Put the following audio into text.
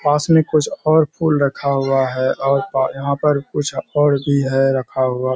पास में कुछ और फूल रखा हुआ है और पर यहाँ पर कुछ और भी है रखा हुआ।